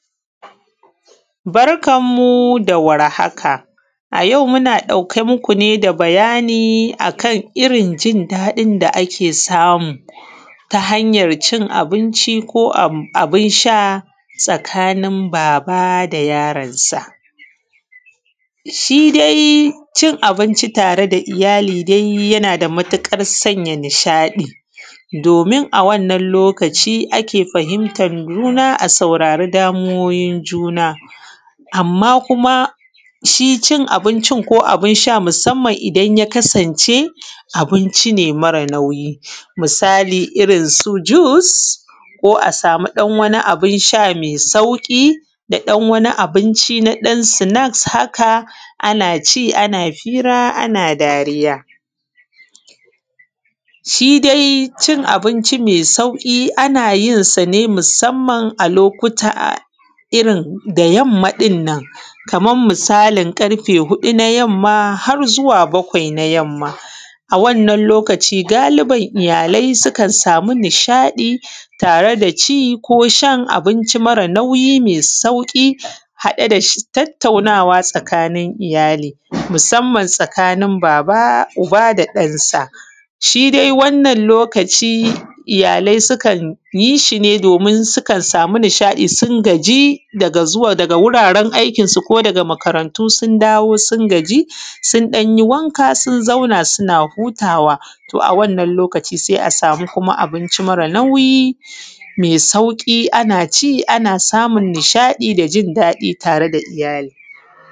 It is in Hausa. Barkan mu da warhaka. A yau muna ɗauke muku bayani akan irrin jin daɗin da ake samu ta hanyar cin abinci ko abun sha tare da yaron sa. Shidai cin abinci tare da iyyali dai yana da matuƙar sanya nishaɗi domin a wannan lokaci ake fahimtar juna a saurari matsalolin juna, amma kuma shi cin abincin ko abun sha musamman inya kasan ce mara nauyi. Misali irrin su jus ko a sami wani abun sha mai sauƙi da ɗan wani sha naɗan sinaks haka naci ana hira ana dariya. Shi dai cin abinci mai sauƙi ana cin sane musamman irrin da yammam ɗinnan Kaman misalign irrin ƙarfe huɗu na yamma har zuwa bakwai na yamma a wannan lokaci galiban iyyalai sukan samu tare da ci kosha abinci mara nauyi haɗe da tattaunawa tsakanin iyyali musamman tsakanin baba da ‘yar’sa. Shi dai wannan lokaci iyyalai sukan yishine domi su sami nishaɗi sun gaji daga wuraren aiki ko daga makarantu, su danyi wanka sun zauna suna hutawa to a wannan lokaci sai a sami kuma abinci mara nauyi mai sauƙi anaci ana nishaɗi daji daɗi tare da iyyali